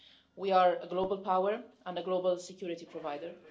We are a global power and a global security provider.